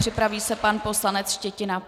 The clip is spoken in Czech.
Připraví se pan poslanec Štětina.